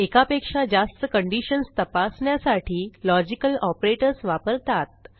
एकापेक्षा जास्त कंडिशन्स तपासण्यासाठी लॉजिकल ऑपरेटर्स वापरतात